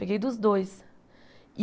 Peguei dos dois.